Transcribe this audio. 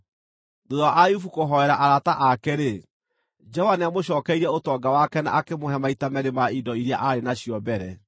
Thuutha wa Ayubu kũhoera arata ake-rĩ, Jehova nĩamũcookeirie ũtonga wake na akĩmũhe maita meerĩ ma indo iria aarĩ nacio mbere.